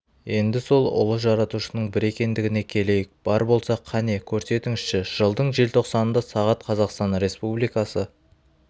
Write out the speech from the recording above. енді сол ұлы жаратушының бір екендігіне келейік бар болса қане көрсетіңізші жылдың желтоқсанында сағат қазақстан республикасы